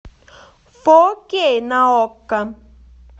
фо кей на окко